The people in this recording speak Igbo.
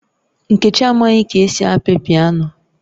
Nkechi amaghi ka esi api piano